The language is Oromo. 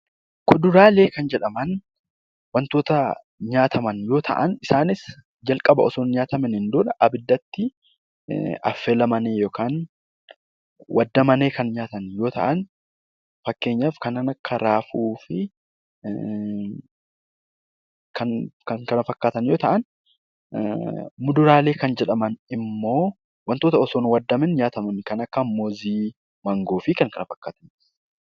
Kuduraalee kan jedhaman waantota nyaataman yoo ta'an isaanis jalqaba osoo hin nyaatamiin dura abiddatti affeelamanii yookaan waadamanii kan nyaataman yoo ta'an fakkeenyaaf kanneen akka raafuu fi kan kana fakkaatan yoo ta'an muduraalee kan jedhaman immoo wantoota osoo hin waadamiin nyaatamanidha kan akka muuzii, maangoo fi kan kana fakkaatan.